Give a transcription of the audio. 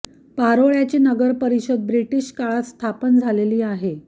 पारोळ्याची नगर परिषद ब्रिटिश काळात स्थापन झालेली आहे